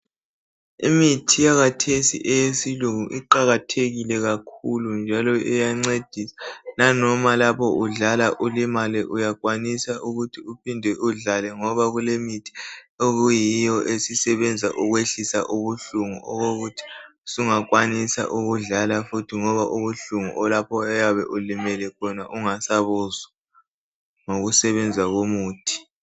Imithi yakathesi eyesilungu iqakathekile kakhulu njalo iyancedisa . Lanoma lapho udlala ulimale uyakwanisa ukuthi uphinde udlale ngoba kulemithi . Okuyiyo esisebenza ukwehlisa ubuhlungu okokuthi sungakwanisa ukudlala futhi ngoba ubuhlungu lapho oyabe ulimele ungasabuzwa ngokusebenza komuthi